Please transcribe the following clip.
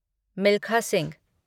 Milkha Singh